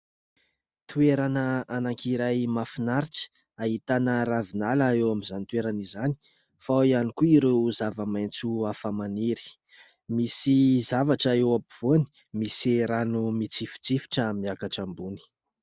Toerana anankiray mahafinaritra ahitana ravinala eo amin'izany toerana izany, fa ao ihany koa ireo zava-maitso hafa maniry. Misy zavatra eo ampovoany, misy rano mitsifitsifitra miakatra ambony.